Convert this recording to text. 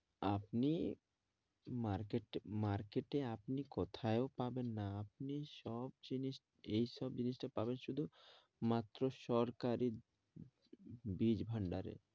আপনি mark~ market এ আপনি কোথাও পাবেন না আপনি সব জিনিস এইসব জিনিসটা পাবেন শুধু মাত্র সরকারি বীজ ভাণ্ডারে